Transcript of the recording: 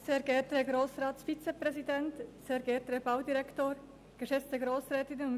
Ich danke dem Vizepräsidenten für seine Ankündigung;